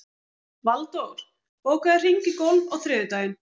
Valdór, bókaðu hring í golf á þriðjudaginn.